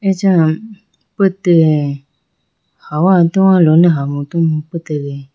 acha petega hawa towa lone hama puhu petege.